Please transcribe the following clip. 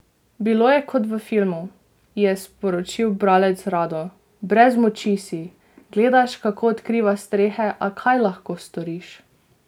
Bilo je kot v filmu, je sporočil bralec Rado: "Brez moči si, gledaš kako odkriva strehe, a kaj lahko storiš.